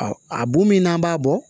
a bon min n'an b'a bɔ